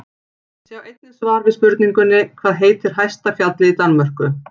Sjá einnig svar við spurningunni Hvað heitir hæsta fjallið í Danmörku?